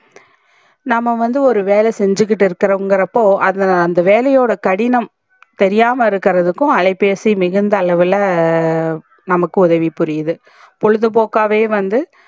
நம்ப வந்து ஒரு வேல செஞ்சிக்கிட்டு இருக்குறோம் இங்குரப்போ அந்த வேலையோட கடினம் தெரியாம இருகர்துக்க்கும் அலைபேசி மிகுந்த அளவுல நமக்கு உதவி புரிது பொழுது போக்காவே வந்து